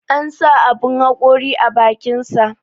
An sa aɓun haƙori a bakinsa.